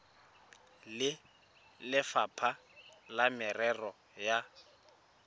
le lefapha la merero ya